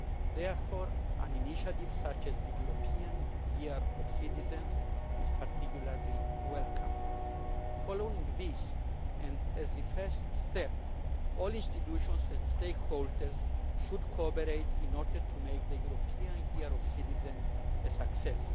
Therefore, an initiative such as the European Year of Citizens is particularly welcome. Following this, and as a first step, all institutions and stakeholders should cooperate in order to make the European Year of Citizens a success.